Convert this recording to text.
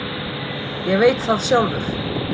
Ég veit það sjálfur.